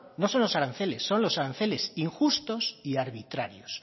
no son los aranceles son los aranceles injustos y arbitrarios